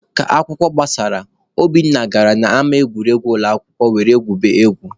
Ka akwụkwọ gbasara, Obinna gara n'ama egwuregwu ụlọakwụkwọ were gwuribe egwu.